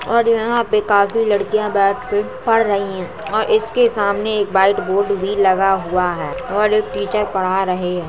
और यहाँ पे काफी लड़किया बैठ के पढ़ रही हैं और इसके सामने एक व्हाइट बोर्ड भी लगा हुआ है और एक टीचर पढ़ा रहे है।